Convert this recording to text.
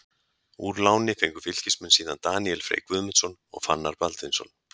Úr láni fengu Fylkismenn síðan Daníel Frey Guðmundsson og Fannar Baldvinsson.